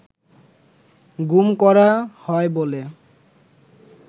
গুম করা হয় বলে